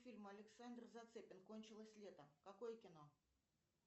фильм александр зацепин кончилось лето какое кино